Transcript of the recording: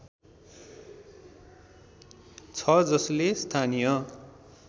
छ जसले स्थानीय